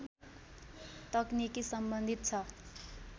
तकनिकी सम्बन्धित छ